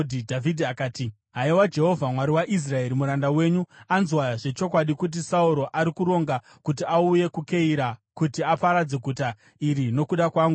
Dhavhidhi akati, “Haiwa Jehovha, Mwari waIsraeri, muranda wenyu anzwa zvechokwadi kuti Sauro ari kuronga kuti auye kuKeira kuti aparadze guta iri nokuda kwangu.